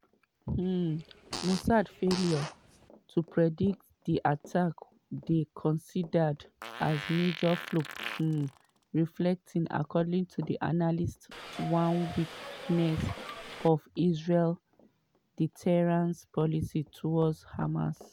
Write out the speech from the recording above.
um mossad failure to predict di attack dey considered as major flop um reflecting according to analysts one weakness for israel deterrence policy towards hamas.